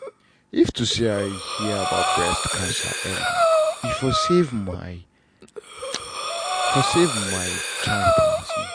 if to say i hear about breast cancer early like e for save my for save my time plenty.